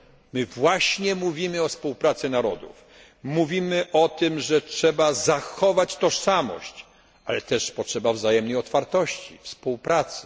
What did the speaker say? My właśnie mówimy o współpracy narodów, mówimy o tym, że trzeba zachować tożsamość, ale też potrzeba wzajemnej otwartości, współpracy.